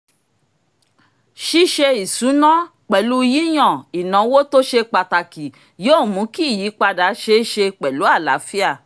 ṣíṣe ìṣúná pẹ̀lú yíyàn ináwó tó ṣe pàtàkì yóò mú kí ìyípadà ṣeé ṣe pẹ̀lú àlàáfíà